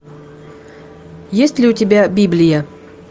есть ли у тебя библия